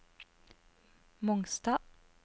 Mongstad